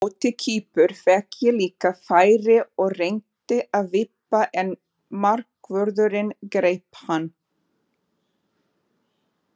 Á móti Kýpur fékk ég líka færi og reyndi að vippa en markvörðurinn greip hann.